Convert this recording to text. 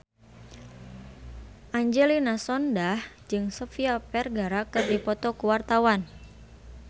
Angelina Sondakh jeung Sofia Vergara keur dipoto ku wartawan